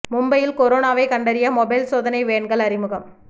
மும்பையில் கொரோனாவை கண்டறிய மொபைல் சோதனை வேன்கள் அறிமுகம்